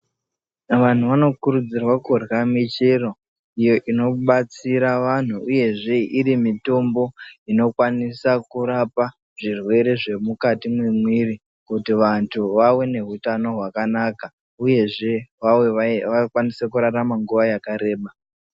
Vantu vanokurudzirwa kurya muchero unobatsire vantu uyezve ine mitombo inokwanisa kurapa zvirwere zvemwiri kuti vantu vawone utano hwakanaka uyezve vakwanise kurarama nguwa yakareba.